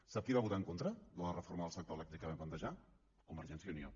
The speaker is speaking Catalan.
sap qui va votar en contra de la reforma del sector elèctric que vam plantejar convergència i unió